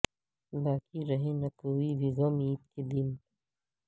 باقی رہے نہ کوئی بھی غم عید کے دن